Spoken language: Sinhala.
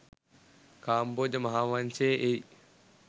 කාම්බෝජ මහාවංශයේ එයි.